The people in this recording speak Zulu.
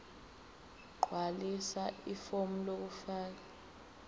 gqwalisa ifomu lokufaka